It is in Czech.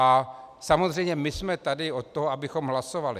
A samozřejmě my jsme tady od toho, abychom hlasovali.